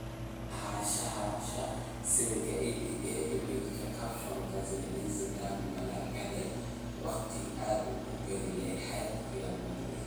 Lahaanshaha sawirka EPA Image caption Zinedine Zidane, ma la gaadhay waqtigii aad ku biiri lahayd Real Madrid?